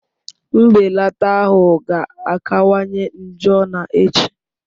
Mbelata ahụ ga-akawanye njọ na echi